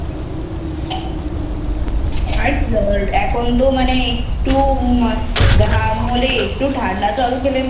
আর এখন তো মানে একটু ঘাম হলে একটু ঠান্ডা জল খেলে